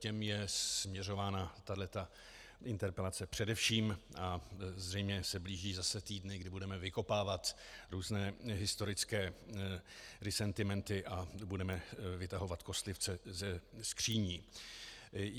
Těm je směřována tahleta interpelace především a zřejmě se blíží zase týdny, kdy budeme vykopávat různé historické disentimenty a budeme vytahovat kostlivce ze skříní.